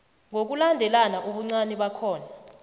ngokulandelana ubuncani bakhona